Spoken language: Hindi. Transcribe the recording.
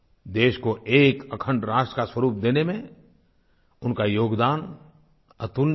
देश को एक अखण्ड राष्ट्र का स्वरुप देने में उनका योगदान अतुलनीय है